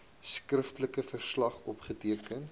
skriftelike verslag opgeteken